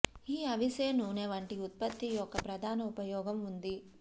ఈ అవిసె నూనె వంటి ఉత్పత్తి యొక్క ప్రధాన ఉపయోగం ఉంది